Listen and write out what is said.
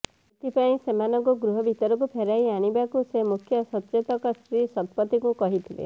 ଏଥିପାଇଁ ସେମାନଙ୍କୁ ଗୃହ ଭିତରକୁ ଫେରାଇ ଆଣିବାକୁ ସେ ମୁଖ୍ୟ ସଚେତକ ଶ୍ରୀ ଶତପଥୀଙ୍କୁ କହିଥିଲେ